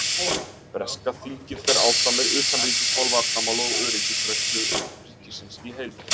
Breska þingið fer áfram með utanríkismál, varnarmál og öryggisgæslu ríkisins í heild.